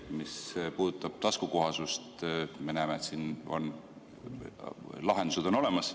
Mis puudutab taskukohasust, me näeme, et siin on lahendused olemas.